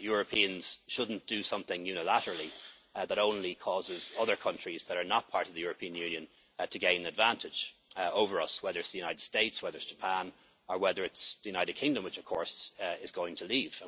Europeans should not do something unilaterally that only causes other countries that are not part of the European Union to gain an advantage over us, whether it is the United States, Japan, or whether it is the United Kingdom, which, of course, is going to